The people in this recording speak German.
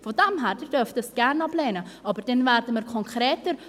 Von daher: Sie dürfen dies gerne ablehnen, aber dann werden wir konkreter.